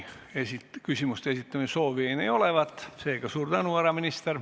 Küsimuste esitamise soovi ei ole.